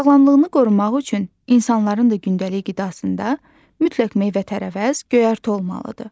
Sağlamlığını qorumaq üçün insanların da gündəlik qidasında mütləq meyvə-tərəvəz, göyərti olmalıdır.